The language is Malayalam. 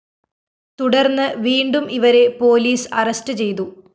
തുടര്‍ന്ന് വീണ്ടും ഇവരെ പോലീസ അറസ്റ്റ്‌ ചെയ്തു